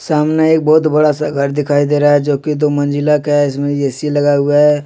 सामने एक बहुत बड़ा सा घर दिखाई दे रहा है जो कि दो मंजिला का है इसमें ए_सी लगा हुआ है।